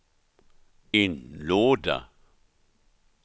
inlåda